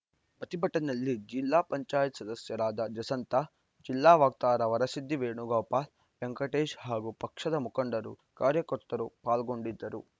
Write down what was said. ಪ್ರತಿಭಟನೆಯಲ್ಲಿ ಜಿಪಂ ಸದಸ್ಯರಾದ ಜಸಂತಾ ಜಿಲ್ಲಾ ವಕ್ತಾರ ವರಸಿದ್ದಿ ವೇಣುಗೋಪಾಲ್‌ ವೆಂಕಟೇಶ್‌ ಹಾಗೂ ಪಕ್ಷದ ಮುಖಂಡರು ಕಾರ್ಯಕರ್ತರು ಪಾಲ್ಗೊಂಡಿದ್ದರು